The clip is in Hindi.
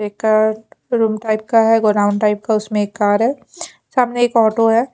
एक रूम टाइप का है गोदाम टाइप का उसमें एक कार है सामने एक आटो है।